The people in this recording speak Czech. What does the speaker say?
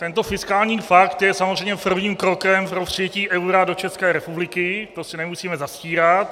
Tento fiskální pakt je samozřejmě prvním krokem pro přijetí eura do České republiky, to si nemusíme zastírat.